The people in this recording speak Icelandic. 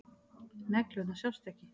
Neglurnar sjást ekki.